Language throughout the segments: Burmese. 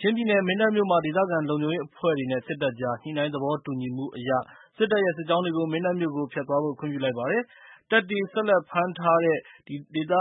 ချင်းပြည်နယ် မင်းတပ်မြို့မှာ ဒေသခံလုံခြုံရေးအဖွဲ့တွေနဲ့ စစ်တပ်ကြား ညှိုနှိုင်းသဘောတူညီမှုအရ စစ်တပ်ရဲ့စစ်ကြောင်းတွေကို မင်းတပ်မြို့ကို ဖြတ်သွားဖို့ ခွင့်ပြုလိုက်ပါတယ်။ တပ်တွေ ဆက်လက်ဖမ်းထားတဲ့ ဒေသ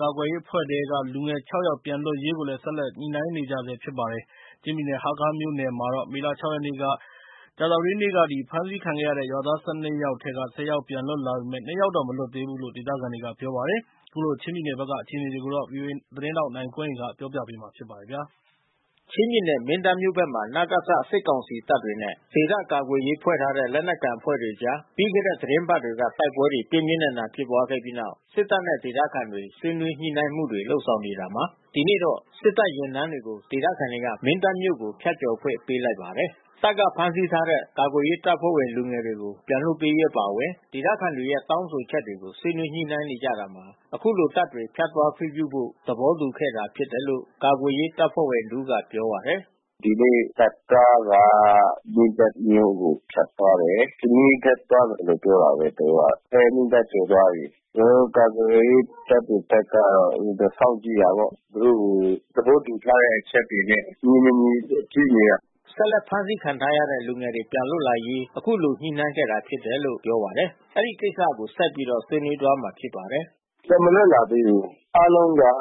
ကာကွယ်ရေးအဖဲ့ွထဲက လူငယ် ၆ ယောက်ပြန်လွတ်ရေးကိုလည်း ဆက်လက် ညှိနှိုင်းနေကြပါတယ်။ ချင်းပြည်နယ် ဟားခါးမြို့နယ်မှာတော့ မေလ ၆ ရက် ကြာသပတေးနေ့က ဖမ်းဆီးခံခဲ့ရတဲ့ ရွာသား ၁၂ ယောက်ထဲက ၁၀ ယောက် ပြန်လွတ်လာပေမဲ့ ၂ ယောက်မလွတ်သေးဘူးလို့ ဒေသခံတွေက ပြောပါတယ်။ ခုလို ချင်းပြည်နယ်ဖက်က အခြေအနေတွေကို ဗွီအိုအေသတင်းထောက်နိုင်ကွန်းအိန်ကနေ ပြောပြပေးမှာပါ။ ချင်းပြည်နယ်မင်းတပ်မြို့ဖက်မှာ နစက စစ်ကောင်စီတပ်တွေနဲ့ ဒေသကာကွယ်ရေးဖွဲ့ထားတဲ့ လက်နက်ကိုင်အဖွဲ့တွေကြား ပြီးခဲ့တဲ့ သီတင်းပါတ်တွေက တိုက်ပွဲတွေပြင်းပြင်းထန်ထန် ဖြစ်ခဲ့ပြီးနောက် စစ်တပ်နဲ့ ဒေသခံတွေ ဆွေးနွေးညှိုနှိုင်းမှုတွေ လုပ်နေတာမှာ ဒီနေ့တော့ စစ်တပ်ယာဉ်တန်းတွေကို ဒေသခံတွေက မင်းတပ်မြို့ကို ဖြတ်ကျော်ခွင့် ပေးလိုက်ပါတယ်။ တပ်က ဖမ်းဆီးထားတဲ့ ကာကွယ်ရေးအဖွဲ့ဝင် လူငယ်တွေကို ပြန်လွှတ်ပေးရေးအပါအဝင် ဒေသခံတွေရဲ့တောင်းဆိုချက်တွေကို ဆွေးနွေးညှိနှိုင်းနေကြတာမှာ ခုလို တပ်တွေဖြတ်သွားခွင့် ပြုဖို့ သဘောတူခဲ့တာဖြစ်တယ်လို့ ကာကွယ်ရေးတပ်ဖွဲ့ဝင်တဦးကပြောပါတယ်။ "ဒီနေ့တပ်ကားက မင်းတပ်မြို့ကိုဖြတ်သွားတယ်။ စမီးဘက်သွားတယ်လို့ပြောတာဘဲသူတို့က။ အဲ မင်းတပ်ကိုကျော်သွား ပြီး။ ကျွန်တော်တို့ကာကွယ်ရေးတပ်တွေဘက်ကစောင့်ကြည့်တယ်ပေါ့။ သူတို့ကိုသဘောတူထားတဲ့ အချက်တွေ နဲ့ ညီမညီကြည့်နေတာ" ဆက်လက်ဖမ်းဆီးခံထားရတဲ့ လူငယ်တွေ ပြန်လွတ်လာရေး ခုလို ညှိုနိုင်းခဲ့တာဖြစ်တယ်လို့ ပြောပါတယ်။ အဲဒီကိစ္စကို ဆက်ပြီး ဆွေးနွေးသွားကြမှာဖြစ်ပါတယ်။ " ပြန်မလွတ်လာသေးဘူး။ အားလုံးက ယောက်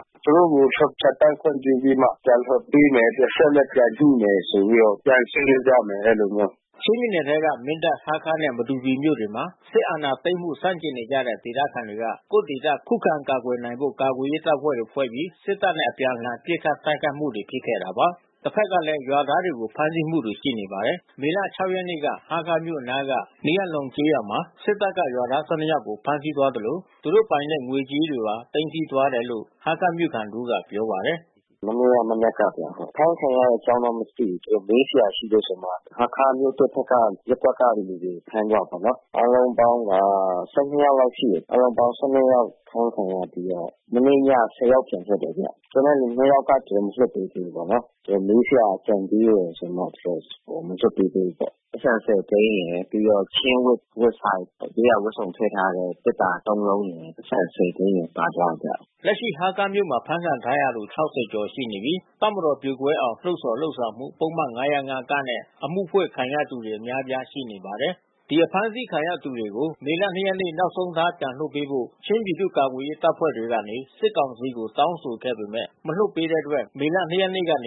။ သူတို့ကို ကျော်ဖြတ်သန်းခွင့်ပြုပြီးမှ ပြန်လွှတ်ပေးမယ်။ အချက်အလက် ပြန်ညှိမယ်ဆိုပြီးတော့ ပြန်ဆွေးနွေးကြမယ်အဲဒီလိုမျိုး'" ချင်းပြည်နယ်ထဲက မင်းတပ်၊ ဟားခါးနဲ့ မတူပီမြို့တွေမှာ စစ်အာဏာသိမ်းမှု ဆန့်ကျင်နေကြတဲ့ ဒေသခံတွေက ကိုယ့်ဒေသ ခုံခံကာကွယ်ဖို့ ကာကွယ်ရေးတပ်ဖွဲ့တွေဖွဲ့ပြီး စစ်တပ်နဲ့ အပြန်အလှန်ပစ်ခတ် တိုက်ခိုက်မှုတွေ ရှိခဲ့တာပါ။ တပ်ဖက်ကလည်း ရွာသားတွေကို ဖမ်းဆီးတာတွေ ရှိပါတယ်။ မေလ ၆ ရက် မနေ့က ဟားခါးမြို့အနားက Hniar Hlawn ကျေးရွာမှာ စစ်တပ်က ရွာသား ယောက်ကိုဖမ်းဆီးသွား သလို သူတို့ပိုင်တဲ့ငွေကြေးတွေပါ သိမ်းဆီးသွားတယ်လို့ ဟားခါးမြို့ခံတဦးကပြောပါတယ်။ "မနေ့ကမနက်ကဗျ။ အဖမ်းခံရတဲ့အကြောင်းတော့မသိဘူး။ သူတို့မေးစရာရှိတယ်ဆိုပြီးတော့မှ ဟားခါးမြို့သစ်ဖက်က ရပ်ကွက်သားတွေကိုဖမ်းသွားတယ်ပေါ့နော်။ အားလုံးပေါင်းက ယောက်လောက်ရှိတယ်။ အားလုံးပေါင်း ယောက် အဖမ်းခံရပြီးတော့ မနေ့ည ယောက်ပြန်လွတ်တယ်ဗျ။ ကျန်တဲ့သူ ယောက်ကပြန်မလွှတ်သေးဘူး ပေါ့ နော်။ မေးစရာကျန်သေးတယ်ဆိုပြီးမှ သူတို့မလွှတ်ပေးသေးဘူးပေါ့။ ပိုက်ဆံ သိန်းရယ် ပြီးတော့ချင်းအဝတ်စား ရိုးရာဝတ်စုံထဲ့ထားတဲ့သေတ္တာ လုံးရယ်။ ပိုက်ဆံ သိန်းရယ်ပါသွားတယ်ဗျ" လက်ရှိဟားခါးမြို့မှာ ဖမ်းခံထားရသူ ၆၀ ကျော်ရှိပြီး တပ်မတော်ပြိုကွဲအောင် လှုံ့ဆော် လုပ်ဆောင်မှု ပုဒ်မ ၅၀၅ နဲ့ အမှုဖွင့်ခံထားရသူတွေ အများအပြားရှိပါတယ်။ ဒီအဖမ်းဆီးခံရသူတွေကို မေလ နေ့ နောက်ဆုံးထားပြန်လွှတ်ပေးဖို့ ချင်းပြည်သူ့ကာကွယ်ရေးတပ်ဖွဲ့တွေကနေ စစ်ကောင်စီကိုတောင်းဆိုခဲ့ပေမဲ့ မလွှတ်ပေးတဲ့အတွက် မေလ ရက်ကနေ ရက်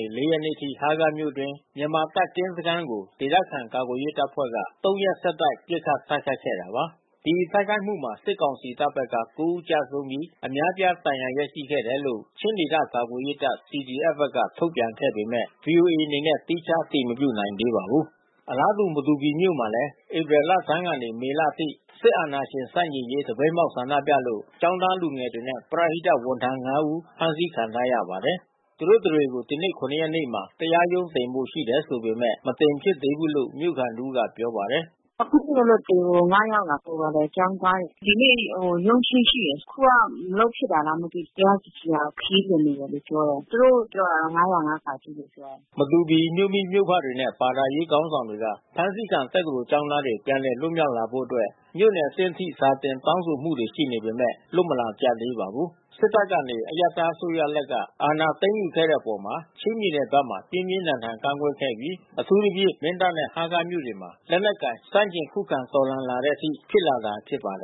အထိ ဟားခါးမြို့အတွင်း မြန်မာ စစ်တပ်ကင်းစခန်းတွေကို ဒေသခံကာကွယ်ရေးအဖွဲ့တွေက ရက် ဆက်တိုက် ပစ်ခတ်တိုက်ခိုက်ခဲ့တာပါ။ ဒီတိုက်ခိုက်မှုမှာ စစ်ကောင်စီတပ်ဘက်က ဦး ကျဆုံးပြီးအများပြားဒဏ်ရာရရှိခဲ့တယ်လို့ ချင်းဒေသ ကာကွယ်ရေးတပ် CDF ဘက်က ထုတ်ပြန်ခဲ့ပေမဲ့ ဗွီအိုအေ အနေနဲ့သီးခြားအတည်မပြုနိုင်သေးပါဘူး။ အလားတူ မတူပီမြို့မှာလဲ ဧပြီလဆန်းကနေ မေလအထိ စစ်အာဏာရှင်ဆန့်ကျင်ရေးသပိတ်မှောက်ဆန္ဒပြလို့ ကျောင်းသား လူငယ်တွေနဲ့ ပရဟိတဝန်ထမ်း ဖမ်းခံထားရပါတယ်။ သူတို့တတွေကို ဒီနေ့ ရက်နေ့မှာ တရားရုံးတင်ဖို့ရှိတယ်ဆိုပေမဲ့ မတင်ဖြစ်သေးဘူးလို့မြို့ခံတဦးကပြောပါတယ်။ "အခုထိမလွတ်သေးဘူး။ ယောက်လား ဟိုဘာလဲကျောင်းသားတွေ။ ဒီနေ့ရုံးချိန်းရှိတယ်။ အခုကမလုပ်ဖြစ်တာလား မသိဘူး။ တရားသူကြီးကခရီးလွန်နေတယ်လို့ပြောတယ်။ သူတို့ပြောတာက ၅၀၅ လို့ပြောတယ်" မတူပီမြို့မိမြို့ဖတွေနဲ့ဘာသာရေးခေါင်းဆောင်တွေက ဖမ်းဆီးခံတက္ကသိုလ်ကျောင်းသားတွေ ပြန်လည်လွတ်မြောက် လာဖို့အတွက် မြို့နယ်အဆင့်အထိစာတင် တောင်းဆိုမှုတွေရှိနေပေမဲ့ လွတ်မလာကြသေးပါဘူး။ စစ်တပ်က အရပ်သားအစိုးရလက်က အာဏာသိမ်းယူခဲ့တဲ့အပေါ် ချင်းပြည်နယ်ဘက်မှာ ပြင်းပြင်းထန်ထန်ကန့်ကွက်ခဲ့ပြီး အထူးသဖြင့် မင်းတပ်နဲ့ ဟားခါးမြို့တွေမှာ လက်နက်ကိုင် ဆန့်ကျင်ခုခံတော်လှန်လာတဲ့အထိ ဖြစ်လာတာဖြစ်ပါတယ်